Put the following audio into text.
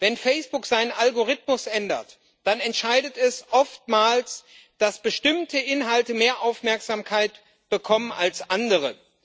Wenn Facebook seinen Algorithmus ändert, dann entscheidet es oftmals, dass bestimmte Inhalte mehr Aufmerksamkeit bekommen als andere.